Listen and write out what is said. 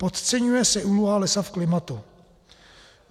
Podceňuje se úloha lesa v klimatu.